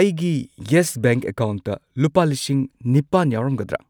ꯑꯩꯒꯤ Yes Bank ꯑꯦꯀꯥꯎꯟꯠꯇ ꯂꯨꯄꯥ ꯂꯤꯁꯤꯡ ꯅꯤꯄꯥꯟ ꯌꯥꯎꯔꯝꯒꯗ꯭ꯔꯥ?